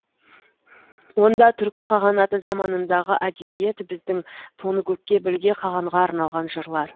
онда түркі қағанаты заманындағы әдебиет біздің тоныкөкке білге қағанға арналған жырлар